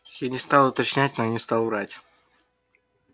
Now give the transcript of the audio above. я не стал уточнять но не стал врать